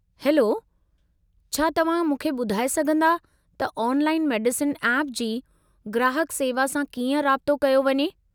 Hello, छा तव्हां मूंखे ॿुधाए सघिन्दा त ऑनलाइन मेडिसिन ऐप जी ग्राहकु सेवा सां कीअं राबितो कयो वञे?